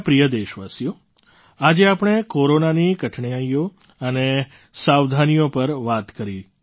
મારા પ્રિય દેશવાસીઓ આજે આપણે કોરોનાની કઠણાઈઓ અને સાવધાનીઓ પર વાત કરી